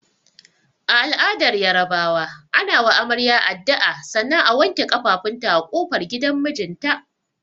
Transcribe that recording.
A al'adar Yarabawa, ana wa amarya addu'a sannan a wanke kafafunta a kofar gidan mijinta.